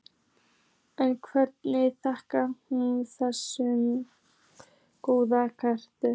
En hverju þakkar hún þessa góðu heilsu?